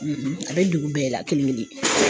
a bɛ dugu bɛɛ la kelen kelen